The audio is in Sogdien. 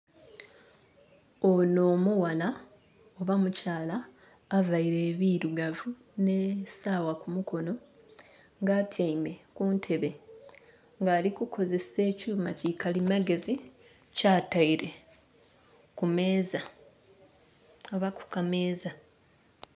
Ono omughala oba omukyala avaire ebirugavu n'esaawa kumukono nga atyaime kuntebe nga ali kukozesa ekyuma kikalimagezi kyataire kumeeza oba kukameeza.